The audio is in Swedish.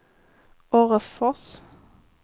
Orrefors